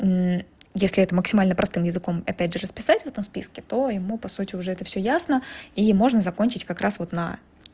если это максимально простым языком опять же расписать в этом списке то ему по сути уже это всё ясно и можно закончить как раз вот на